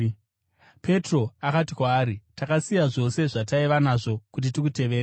Petro akati kwaari, “Takasiya zvose zvataiva nazvo kuti tikuteverei!”